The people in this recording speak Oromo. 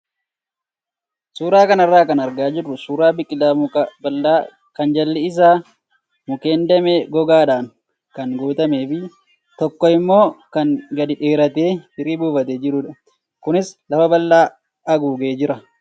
Suuraa kanarraa kan argaa jirru suuraa biqilaa muka bal'aa kan jalli isaa mukkeen damee gogaadhaan kan guutamee fi tokko immoo kan gadi dheeratee firii buufatee jirudha. Kunis lafa bal'aa haguugee jira.